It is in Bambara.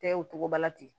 Tɛ o cogo la ten